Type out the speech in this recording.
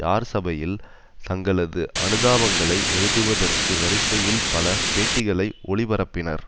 யார் சபையில் தங்களது அனுதாபங்களை எழுதுவதற்கு வரிசையில் பல பேட்டிகளை ஒளிபரப்பினர்